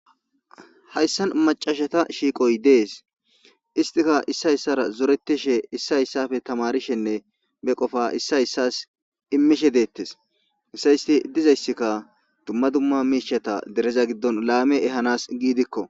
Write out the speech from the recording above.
Hayssan maccashetha shiiqoy dees; issika issay issoora zoreththishe issay issaappe thamaarishee ba qofaa issoy issuwas immishe deeththes; dizayssikka dumma dumma miishshatha dere laame ehaanadan gidikko.